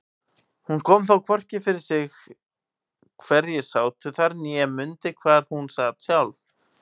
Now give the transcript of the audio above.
Hún kom þó hvorki fyrir sig hverjir sátu þar né mundi hvar hún sat sjálf.